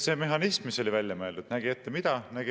See mehhanism, mis on välja mõeldud, nägi ette mida?